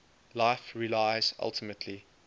life relies ultimately